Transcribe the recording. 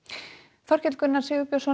Þorkell Gunnar Sigurbjörnsson